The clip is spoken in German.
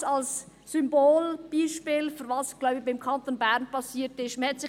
Dies als Symbolbeispiel, für das, was – glaube ich – im Kanton Bern passiert ist.